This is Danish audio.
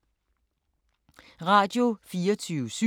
Radio24syv